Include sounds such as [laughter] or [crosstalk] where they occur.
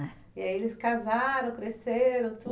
E aí eles casaram, cresceram [unintelligible]